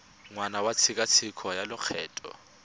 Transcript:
ngwaga wa tshekatsheko ya lokgetho